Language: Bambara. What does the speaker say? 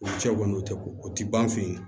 U cɛw kɔni tɛ ko o tɛ ban an fɛ yen